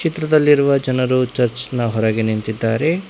ಚಿತ್ರದಲ್ಲಿರುವ ಜನರು ಚರ್ಚ್ ನ ಹೊರಗೆ ನಿಂತಿದ್ದಾರೆ.